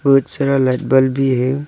बहोत सारा light bulb भी है।